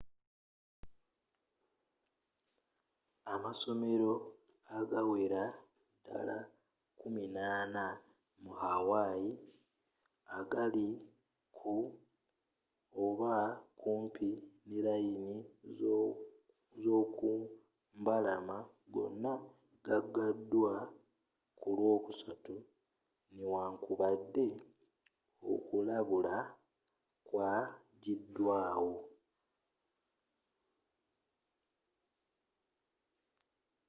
amasomero agawerera ddala kkumina'ana mu hawaii agali ku oba kumpi ne layini z'okumbalama gonna gagaddwa ku lwokusatu newankubadde okulabula kwajiddwawo